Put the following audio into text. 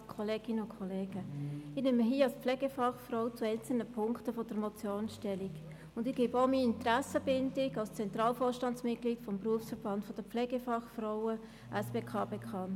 Ich nehme nun als Pflegefachfrau zu einzelnen Punkten der Motion Stellung und gebe gleichzeitig meine Interessenbindung als Mitglied des Zentralvorstands des Berufsverbands der Pflegefachfrauen und Pflegefachmänner (SBK) bekannt.